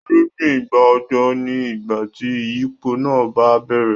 Irúgbìn ìgbà òjò ni ìgbà tí ìyípo náà bá bẹ̀rẹ̀.